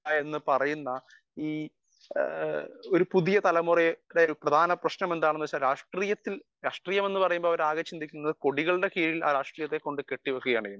speaker 1 എന്ന് പറയുന്ന ഒരു പുതിയ തലമുറയെ ഒരു പ്രധാന പ്രശ്നം എന്താണെന്നു വച്ചാൽ രാഷ്ട്രീയം എന്ന് പറഞ്ഞാൽ അവർ ആകെ ചിന്തിക്കുന്നത് കൊടികളുടെ കീഴിൽ രാഷ്ട്രീയത്തെ കൊണ്ട് കെട്ടിവക്കുകയാണ് ചെയ്യുന്നത്